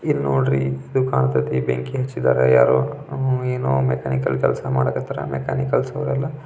ಇಲ್ ನೋಡ್ರಿ ಇದು ಕಾಂತತೆ ಬೆಂಕಿ ಹಚ್ಚಿದ್ದಾರೆ ಯಾರೋ ಏನೋ ಮೆಕ್ಯಾನಿಕಲ್ ಕೆಲ್ಸ ಮಾಡಕಾತರ ಮೆಕ್ಯಾನಿಕಲ್ಸ್ ಅವೆಲ್ಲ --